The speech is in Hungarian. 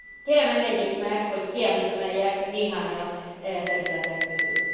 Kérem, engedjék meg, hogy kiemeljek néhányat e területek közül.